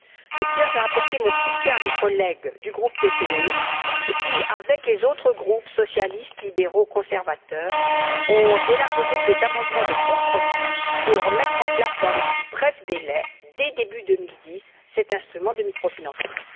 Je tiens à apporter mon soutien à mes collègues du groupe PPE qui, avec les autres groupes socialistes, libéraux, conservateurs ont élaboré des amendements de compromis pour mettre en place, dans les plus brefs délais, dès 2010, cet instrument de microfinancement.